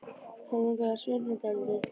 Hann langar til að svitna dálítið.